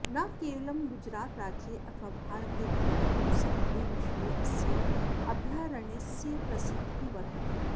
न केवलं गुजरातराज्ये अथवा भारते अपि तु समग्रे विश्वे अस्य अभयारण्यस्य प्रसिद्धिः वर्तते